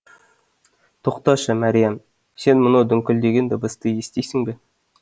тоқташы мәриям сен мынау дүңкілдеген дыбысты естисің бе